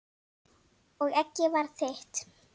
Og eggið var þitt!